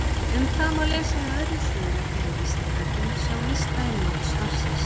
Um það má lesa í öðrum svörum hér á Vísindavefnum, sjá lista í lok svarsins.